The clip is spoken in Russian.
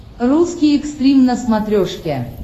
русский экстрим на смотрешке